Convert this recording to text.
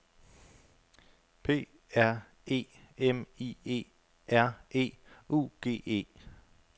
P R E M I E R E U G E